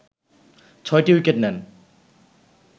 ছয়টি উইকেট নেন